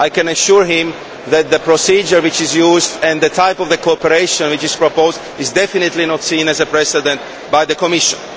I can assure him that the procedure which is used, and the type of cooperation which is proposed, is definitely not seen as a precedent by the Commission.